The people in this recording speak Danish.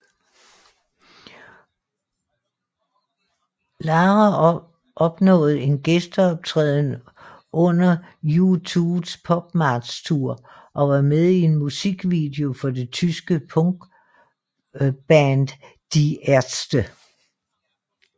Lara opnåede en gæsteoptræden under U2s PopMart Tour og var med i en musikvideo for det tyske punkband Die Ärzte